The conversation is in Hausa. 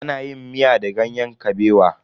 Ana yin miya da ganyen kabewa.